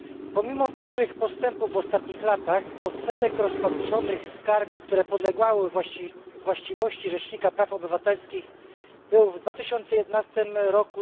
Pomimo dużych postępów w ostatnich latach odsetek rozpatrzonych skarg, które podlegały właściwości Rzecznika Praw Obywatelskich, był w 2011 r.